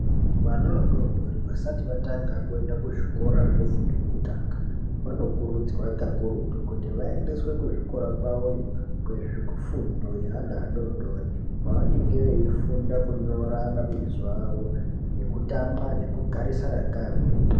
Vana vadodori vasati vatanga kuenda kuzvikora zvefundo yekutanga, vanokurudzirwa pakurutu kuti vaendeswe kuzvikora kwavoyo kweana adodori kwavanenge veifunda kunyora mabizo avo, nekutamba nekugarisana nevamweni